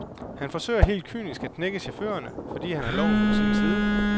Han forsøger helt kynisk at knække chaufførerne, fordi han har loven på sin side.